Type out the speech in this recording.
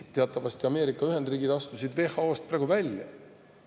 Teatavasti astusid Ameerika Ühendriigid WHO-st välja.